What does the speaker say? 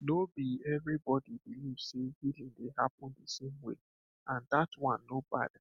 no be everybody believe say healing dey happen the same way and that one no bad